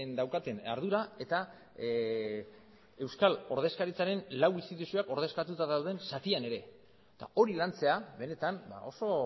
daukaten ardura eta euskal ordezkaritzaren lau instituzioak ordezkatuta dauden zatian ere eta hori lantzea benetan oso